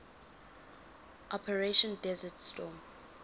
operation desert storm